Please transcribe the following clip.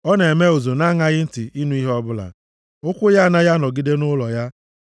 (Ọ na-eme ụzụ na-aṅaghị ntị ịnụ ihe ọbụla. Ụkwụ ya anaghị anọgide nʼụlọ ya.